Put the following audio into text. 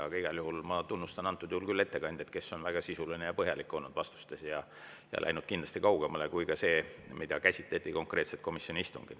Aga igal juhul ma tunnustan ettekandjat, kes on vastustes väga sisuline ja põhjalik olnud ja läinud kindlasti kaugemale sellest, mida komisjoni istungil konkreetselt käsitleti.